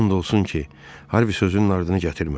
And olsun ki, Harvi sözünün ardını gətirmədi.